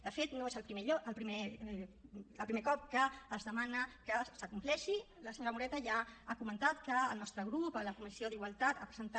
de fet no és el primer cop que es demana que es compleixi la senyora moreta ja ha comentat que el nostre grup a la comissió d’igualtat ha presentat